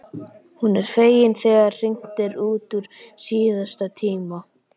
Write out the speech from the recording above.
Hún er fegin þegar hringt er út úr síðasta tíma.